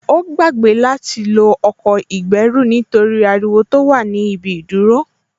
Ó gbàgbé láti lo ọkọ̀ ìgbẹ́rù nítorí ariwo tó wà ní ibi ìdúró